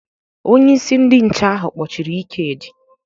Onye isi ndị nche ahụ kpọchiri Ikedi.